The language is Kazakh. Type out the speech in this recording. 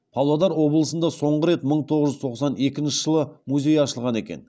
павлодар облысында соңғы рет мың тоғыз жүз тоқсан екінші жылы музей ашылған екен